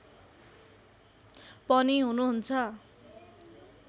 पनि हुनुहुन्छ